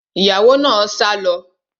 Ìyàwó náà sá lọ